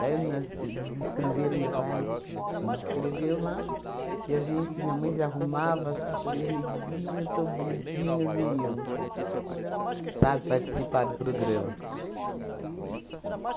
Daí nós eles escreveram, meu pai nos escreveu lá, e a gente, minha mãe se arrumava, as três negrinhas tão bonitinhas, e íamos, sabe, participar do programa.